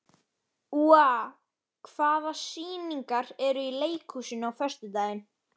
Úa, hvaða sýningar eru í leikhúsinu á föstudaginn?